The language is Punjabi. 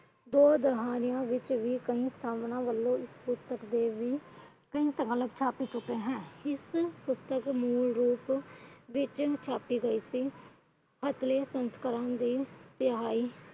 ਕਈ ਸਾਧਨਾ ਵਲੋਂ ਪੁਸਤਕ ਦੇ ਵੀ ਛਪ ਚੁਕੇ ਹੈ।